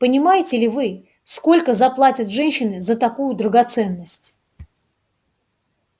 понимаете ли вы сколько заплатят женщины за такую драгоценность